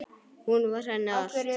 Hún var henni allt.